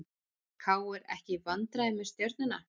KR ekki í vandræðum með Stjörnuna